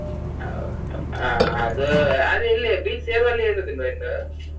ಹ ಅದು, ಅದು ಇಲ್ಲಿ beach ಸೇರುವಲ್ಲಿ ಇರುದಿಲ್ಲವಾ ಎಲ್ಲೂ?